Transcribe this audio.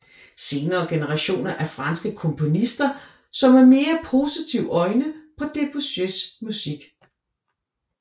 Senere generationer af franske komponister så med mere positive øjne på Debussys musik